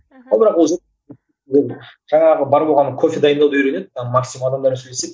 мхм ал бірақ өзі жаңағы бар болғаны кофе дайындауды үйренеді там максимум адамдармен сөйлеседі